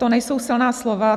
To nejsou silná slova.